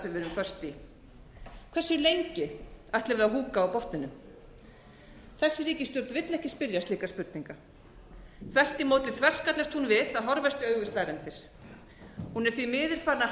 föst í hversu lengi ætlum við að húka á botninum þessi ríkisstjórn vill ekki spyrja slíkra spurninga þvert á móti þverskallast hún við að horfast í augu við staðreyndir hún er því miður farin að